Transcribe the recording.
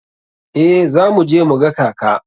Eh za mu je mu ga kaka.